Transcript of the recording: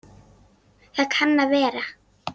Það kann að vera